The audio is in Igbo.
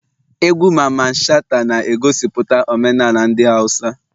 Egwu Mamman shata na egosiputa omenala ndi hausa